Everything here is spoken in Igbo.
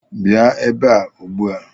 Bịa ebe a ugbu a!